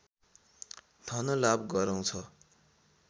धनलाभ गराउँछ